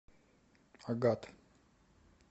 агат